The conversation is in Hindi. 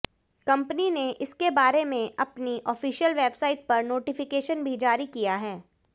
कंपनी ने इसके बारे में अपनी आॅफिशल वेबसाइट पर नोटिफिकेशन भी जारी किया है